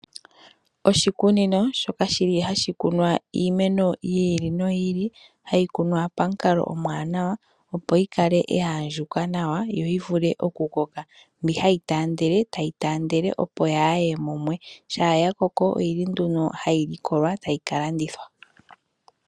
Oshikunino shoka hashi kunwa iimeno yi ili noyi ili. Hayi kunwa pamukalo omuwanawa, opo yi kale ya andjuka nawa noyi vule okukoka. Mbi hayi taandele tayi taandele, opo yaa ye mumwe. Shampa ya koko ohayi likolwa, tayi ka landithwa.